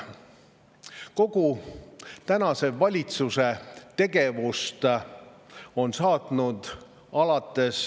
Kogu tänase valitsuse tegevust on algusest peale saatnud valetamine.